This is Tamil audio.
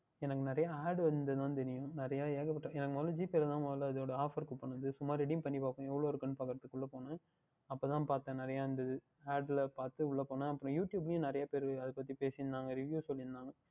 எனக்கு நிறைய Ad வந்தது தான் தெரியும் நிறைய ஏகப்பட்ட எனக்கு முதல் GPay வில் தான் முதல் இது உடைய Offer Coupon சும்மா Redim பண்ணி பார்ப்போம் எவ்வளவு இருக்கு என்று பார்ப்பதுற்கு உள்ளே போனேன் அப்பொழுது தான் பார்த்தேன் நிறைய இருந்தது Ad லாம் பார்த்துவிட்டு உள்ளே போனேன் அப்புறம் YouTube ளையும் நிறைய பேர் அதை பற்றி பேசி இருந்தார்கள் Review சொல்லி இருந்தார்கள்